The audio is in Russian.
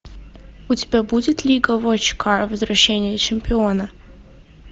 у тебя будет лига вотчкар возвращение чемпиона